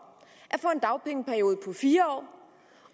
at fire år